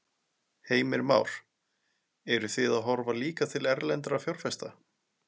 Heimir Már: Eruð þið að horfa líka til erlendra fjárfesta?